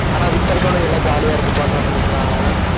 ஆனா இப்ப இருக்கவனுக்கு எல்லாம் jolly யா இருக்கும் இப்ப வந்தவனுங்களுக்கலாம்